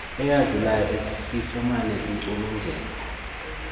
eyadlulayo sifumane intsulungeko